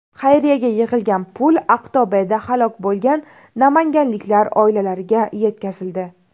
Xayriyada yig‘ilgan pul Aqto‘beda halok bo‘lgan namanganliklar oilalariga yetkazildi .